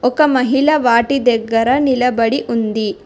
ఒక మహిళ వాటి దగ్గర నిలబడి ఉంది.